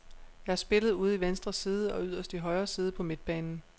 Jeg har spillet ude i venstre side og yderst i højre side på midtbanen.